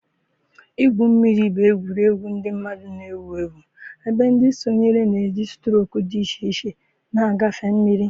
igwu mmiri bụ egwuregwu ndị mmadụ na-ewu ewu ebe ndị sonyere na-eji strok dị iche iche na-agafe mmiri.